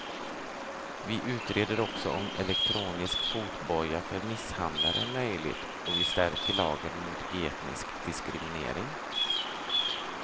Vi utreder också om elektronisk fotboja för misshandlare är möjligt och vi stärker lagen mot etnisk diskriminering.